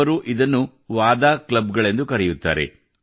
ಅವರು ಇದನ್ನು ವಾದಾ वादा ಕ್ಲಬ್ ಗಳೆಂದು ಕರೆಯುತ್ತಾರೆ